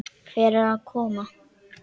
Hvert á ég að koma?